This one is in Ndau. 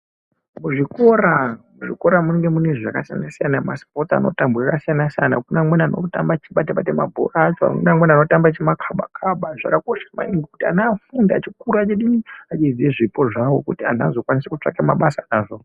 Muzvikora, muzvikora munenge mune zvakasiyana siyana masipotsi anotambwa zvakasiyana siyana munenge mune amweni anotamaba achibata bata mabhora mune anotamba achimakhaba zvakakosha maningi kuti ana akure achiziva zvipo zvawo kuti antu azokone kutsvaga mabasa awo.